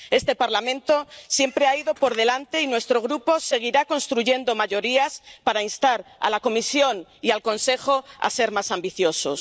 Este Parlamento siempre ha ido por delante, y nuestro Grupo seguirá construyendo mayorías para instar a la Comisión y al Consejo a ser más ambiciosos.